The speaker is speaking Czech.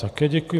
Také děkuji.